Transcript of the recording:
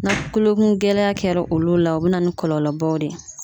Na kulokun gɛlɛya kɛra olu la, o be na ni kɔlɔlɔbaw de ye